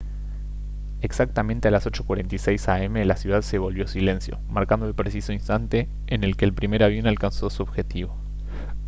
exactamente a las 8:46 a m la ciudad se volvió silencio marcando el preciso instante en el que el primer avión alcanzó su objetivo